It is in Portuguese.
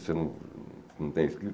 Você não não tem escrito?